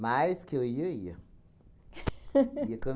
Mais que eu ia, eu ia. Ia com